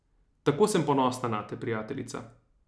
Tako sem ponosna nate, prijateljica.